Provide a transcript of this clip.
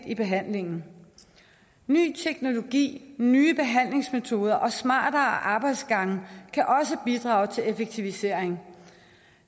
i behandlingen ny teknologi nye behandlingsmetoder og smartere arbejdsgange kan også bidrage til effektivisering